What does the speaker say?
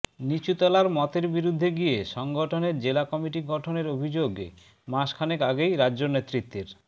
নিচুতলার মতের বিরুদ্ধে গিয়ে সংগঠনের জেলা কমিটি গঠনের অভিযোগে মাসখানেক আগেই রাজ্য নেতৃত্বের